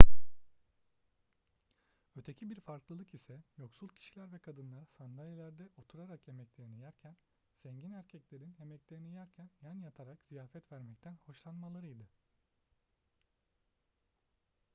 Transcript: öteki bir farklılık ise yoksul kişiler ve kadınlar sandalyelerde oturarak yemeklerini yerken zengin erkeklerin yemeklerini yerken yan yatarak ziyafetler vermekten hoşlanmalarıydı